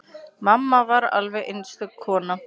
Mamma var alveg einstök kona.